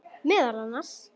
Meðal annars.